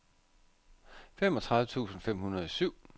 femogtredive tusind fem hundrede og syv